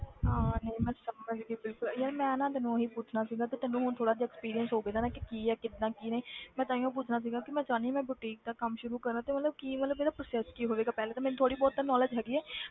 ਹਾਂ ਹਾਂ ਨਹੀਂ ਮੈਂ ਸਮਝ ਗਈ ਬਿਲਕੁਲ ਯਾਰ ਮੈਂ ਨਾ ਤੈਨੂੰ ਉਹੀ ਪੁੱਛਣਾ ਸੀਗਾ ਕਿ ਤੈਨੂੰ ਥੋੜ੍ਹਾ ਜਿਹਾ experience ਹੋਵੇਗਾ ਨਾ ਕਿ ਕੀ ਆ ਕਿੱਦਾਂ ਕੀ ਨਹੀਂ ਮੈਂ ਤਾਂਹੀਓ ਪੁੱਛਣਾ ਸੀਗਾ ਕਿ ਮੈਂ ਚਾਹੁੰਦੀ ਹਾਂ ਕਿ ਮੈਂ boutique ਦਾ ਕੰਮ ਸ਼ੁਰੂ ਕਰਾਂ ਤੇ ਮਤਲਬ ਕੀ ਮਤਲਬ ਇਹਦਾ process ਕੀ ਹੋਵੇਗਾ ਪਹਿਲਾਂ ਤੇ ਮੈਨੂੰ ਥੋੜ੍ਹੀ ਬਹੁਤ ਤਾਂ knowledge ਹੈਗੀ ਆ,